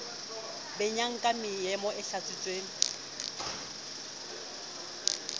benyang ka meomo e hlatswitsweng